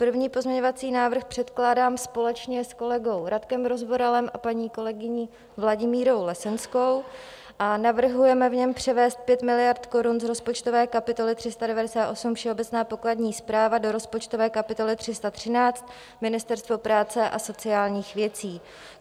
První pozměňovací návrh předkládám společně s kolegou Radkem Rozvoralem a paní kolegyní Vladimírou Lesenskou a navrhujeme v něm převést 5 miliard korun z rozpočtové kapitoly 398 Všeobecná pokladní správa do rozpočtové kapitoly 313 Ministerstvo práce a sociálních věcí.